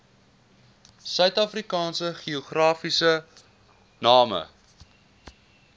suidafrikaanse geografiese name